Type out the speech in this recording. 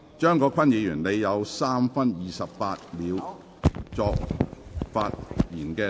張國鈞議員，你還有3分28秒作發言答辯。